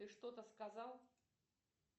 ты что то сказал